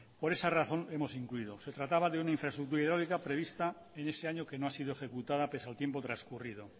por esa razón hemos incluido se trataba de una infraestructura hidráulica prevista en ese año que no ha sido ejecutada pese al tiempo transcurrido